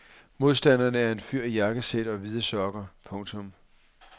Modstanderen er en fyr i jakkesæt og hvide sokker. punktum